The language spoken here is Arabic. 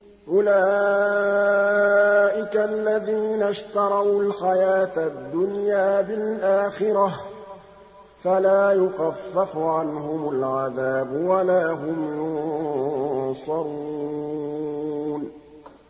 أُولَٰئِكَ الَّذِينَ اشْتَرَوُا الْحَيَاةَ الدُّنْيَا بِالْآخِرَةِ ۖ فَلَا يُخَفَّفُ عَنْهُمُ الْعَذَابُ وَلَا هُمْ يُنصَرُونَ